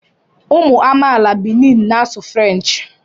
Ụmụ amaala Benin na-asụ Frenchị